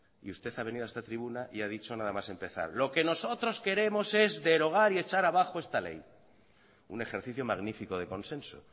usted ha venido a esta tribuna y ha dicho nada más empezar lo que nosotros queremos es derogar y echar abajo esta ley un ejercicio magnífico de consenso